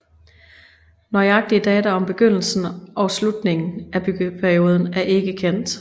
Nøjagtige data om begyndelsen og slutningen af byggeperioden er ikke kendt